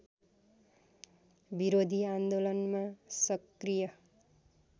विरोधी आन्दोलनमा सक्रिय